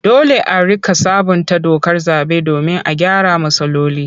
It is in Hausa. Dole a riƙa sabunta dokar zaɓe domin a gyara matsaloli.